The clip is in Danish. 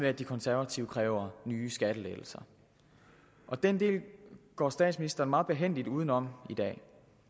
at de konservative kræver nye skattelettelser den del går statsministeren meget behændigt udenom i dag